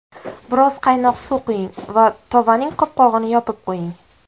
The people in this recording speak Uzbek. Biroz qaynoq suv quying va tovaning qopqog‘ini yopib qo‘ying.